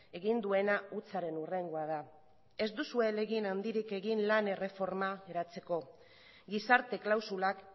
egin duena hutsaren hurrengoa da ez duzue ahalegin handirik egin lan erreforma eratzeko gizarte klausulak